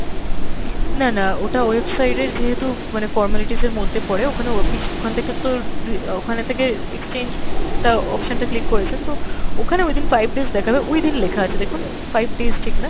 না না ওটা website এর যেহেতু মানে formalities এর মধ্যে পরে ওখানেও আপনি ওখান থেকে তো আর আহ ওখানে থেকে exchange টা option টা click করেছেন তো ওখানে within five days দেখাবে within লেখা আছে দেখুন, five days ঠিক না,